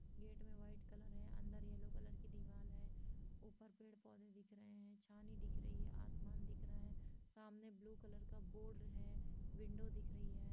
Gate मे white colour है अंदर येलो कलर की दीवाल है। ऊपर पेड़-पौधे दिख रहे है छानी दिख रही है आसमान दिख रहा है सामने ब्लू कलर का बोर्ड है विंडो दिख रही है।